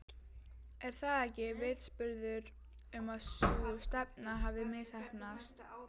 Er það ekki vitnisburður um að sú stefna hafi misheppnast?